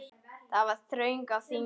Það var þröng á þingi.